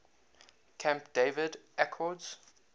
camp david accords